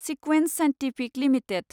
सिक्वेन्ट scientific limited